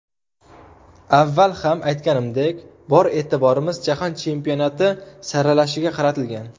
Avval ham aytganimdek, bor e’tiborimiz Jahon Chempionati saralashiga qaratilgan.